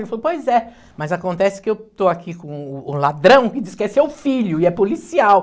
Ele falou, pois é. Mas acontece que eu estou aqui com o o ladrão que diz que é seu filho e é policial.